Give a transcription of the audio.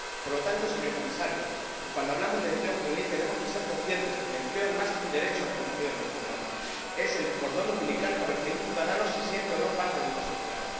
Por lo tanto, señor Comisario, cuando hablamos de empleo juvenil, tenemos que ser conscientes de que el empleo es más que un derecho reconocido en nuestras normas es el cordón umbilical por el que un ciudadano se siente o no parte de una sociedad.